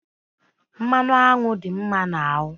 Mmanụ anwụ dị mma n'ahụ